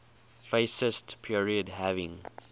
fascist period having